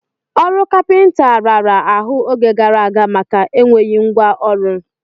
Ọrụ kapịnta raara ahụ oge gara aga maka enweghị ngwa ọrụ.